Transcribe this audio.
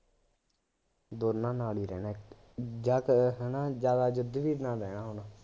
ਦੋਨਾਂ ਨਾਲ ਈ ਰਹਿੰਦਾ, ਜਾ ਕ ਹਾ ਨਾ ਜ਼ਿਆਦਾ ਯੁੱਧਵੀਰ ਨਾਲ ਰਹਿੰਦਾ ਹੁਣ